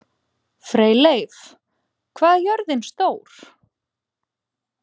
Freyleif, hvað er jörðin stór?